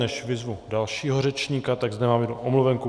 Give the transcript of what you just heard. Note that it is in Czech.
Než vyzvu dalšího řečníka, tak zde mám jednu omluvenku.